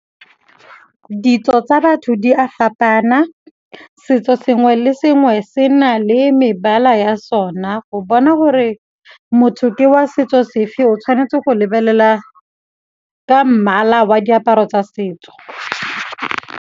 Ditso tsa batho di a fapana, setso sengwe le sengwe se na le mebala ya sona go bona gore motho ke wa setso sefe o tshwanetse go lebelela ka mmala wa diaparo tsa setso.